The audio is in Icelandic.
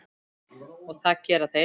Og það gera þeir.